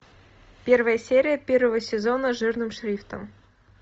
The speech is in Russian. первая серия первого сезона жирным шрифтом